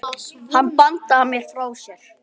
Hann bandaði mér frá sér.